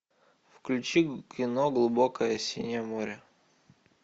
включи кино глубокое синее море